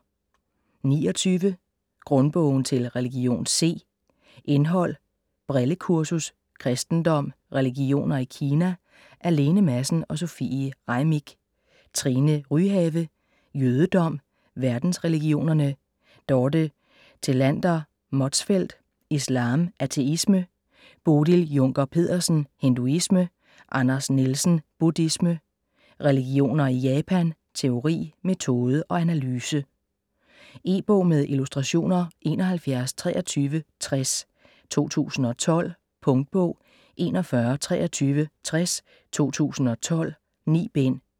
29 Grundbogen til religion C Indhold: Brillekursus ; Kristendom ; Religioner i Kina / af Lene Madsen & Sofie Reimick. Trine Ryhave: Jødedom ; Verdensreligionerne. Dorte Thelander Motzfeldt: Islam ; Ateisme. Bodil Junker Pedersen: Hinduisme. Anders Nielsen: Buddhisme ; Religioner i Japan ; Teori, metode og analyse. E-bog med illustrationer 712360 2012. Punktbog 412360 2012. 9 bind.